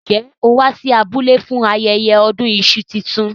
Njẹ́ ó wá sí abúlé fún ayẹyẹ ọdún iṣu tuntun?